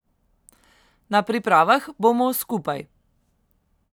Na pripravah bomo skupaj.